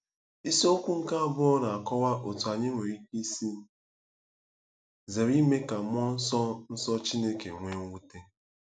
Isiokwu nke abụọ na-akọwa otú anyị nwere ike isi zere ime ka mmụọ nsọ nsọ Chineke nwee mwute.